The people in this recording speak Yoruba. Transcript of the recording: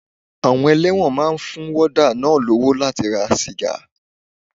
Àwọn elẹ́wọ̀n máa ń fún wọ́dà náà lówó láti ra sìgá.